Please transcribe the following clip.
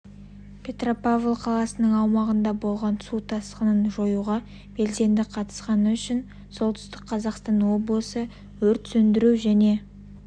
петропавл қаласының аумағында болған су тасқынын жоюға белсенді қатысқаны үшін солтүстік қазақстан облысы өрт сөндіру және